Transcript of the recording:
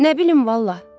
Nə bilim vallah.